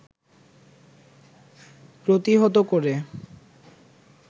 প্রতিহত করে